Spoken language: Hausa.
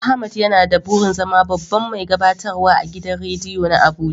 Ahmad yana da burin zama babban mai gabatarwa agidan rediyo na Abuja.